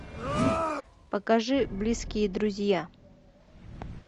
покажи близкие друзья